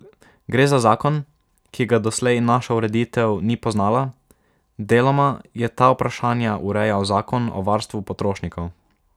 Gre za zakon, ki ga doslej naša ureditev ni poznala, deloma je ta vprašanja urejal zakon o varstvu potrošnikov.